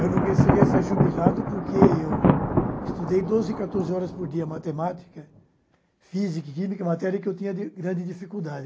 Eu não conseguia ser jubilado porque eu estudei doze, quatorze horas por dia matemática, física, química, matéria que eu tinha di grande dificuldade.